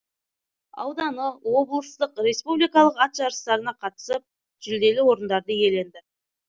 ауданы облыстық республикалық ат жарыстарына қатысып жүлделі орындарды иеленді